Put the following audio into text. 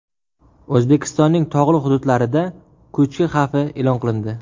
O‘zbekistonning tog‘li hududlarida ko‘chki xavfi e’lon qilindi.